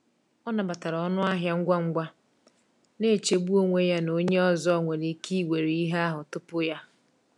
Ọ nabatara ọnụ ahịa ngwa ngwa, na-echegbu onwe ya na onye ọzọ nwere ike iwere ihe ahụ tupu ya.